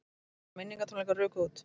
Miðar á minningartónleika ruku út